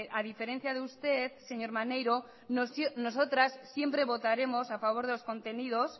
a diferencia de usted señor maneiro nosotras siempre votaremos a favor de los contenidos